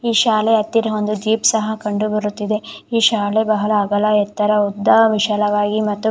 ಈ ಶಾಲೆ ಹತ್ತಿರ ಒಂದು ಜೀಪ್ ಸಹ ಕಂಡು ಬರುತ್ತಿದೆ. ಈ ಶಾಲೆ ಬಹಳ ಅಗಲ ಎತ್ತರ ಮತ್ತು ಬಹಳ ಉದ್ದ ವಿಶಾಲವಾಗಿ ಮತ್ತು--